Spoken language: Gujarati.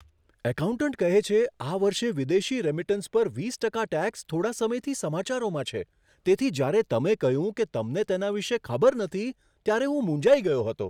એકાઉન્ટન્ટ કહે છે, આ વર્ષે વિદેશી રેમિટન્સ પર વીસ ટકા ટેક્સ થોડા સમયથી સમાચારોમાં છે, તેથી જ્યારે તમે કહ્યું કે તમને તેના વિશે ખબર નથી, ત્યારે હું મૂંઝાઈ ગયો હતો.